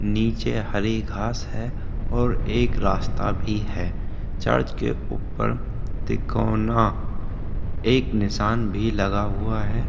नीचे हरी घास है और एक रास्ता भी है चर्च के ऊपर तिकोना एक निसान भी लगा हुआ है।